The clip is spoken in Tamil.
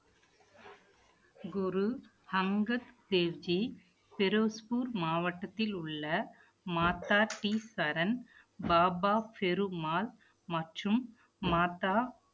குரு அங்கத் தேவ்ஜி பெரோஸ்பூர் மாவட்டத்தில் உள்ள மாதா டி சரண், பாபா ஃபெரு மால் மற்றும் மாதா